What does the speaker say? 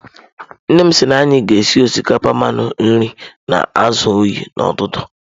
Nnem si na anyi ga esi osikapa mmanụ nri na azu oyi n'ututu.